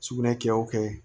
Sugunɛ kɛ o kɛ